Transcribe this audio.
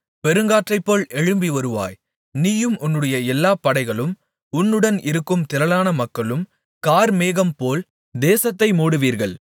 பெருங்காற்றைப்போல் எழும்பி வருவாய் நீயும் உன்னுடைய எல்லா படைகளும் உன்னுடன் இருக்கும் திரளான மக்களும் கார்மேகம்போல் தேசத்தை மூடுவீர்கள்